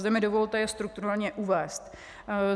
Zde mi dovolte je strukturálně uvést.